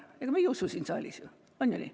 Ega me ei usu seda siin saalis, on ju nii.